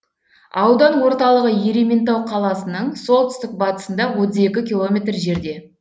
аудан орталығы ерейментау қаласының солтүстік батысында отыз екі километр жерде